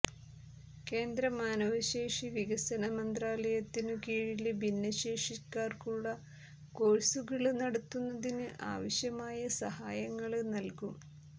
കേന്ദ്ര മാനവശേഷി വികസന മന്ത്രാലയത്തിനു കീഴില് ഭിന്നശേഷി ക്കാര്ക്കുള്ള കോഴ്സുകള് നടത്തുന്നതിന് ആവശ്യമായ സഹായങ്ങള് നല്കും